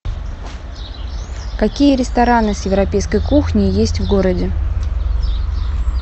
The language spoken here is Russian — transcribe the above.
какие рестораны с европейской кухней есть в городе